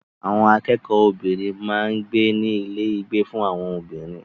Àwọn akẹ́kọ̀ọ́ obìnrin máa ń gbé ní ilé ìgbé fún àwọn obìnrin.